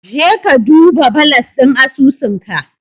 Jeka ka duba balas ɗin asusunka.